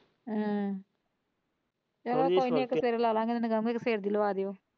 ਚੱਲੋ ਕੋਈ ਨਹੀਂ ਇੱਕ ਦਿਨ ਲੈ ਲਾ ਗਏ ਫ਼ੇਰ।